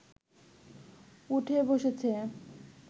উঠে বসেছে